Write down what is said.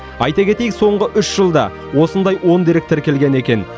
айта кетейік соңғы үш жылда осындай он дерек тіркелген екен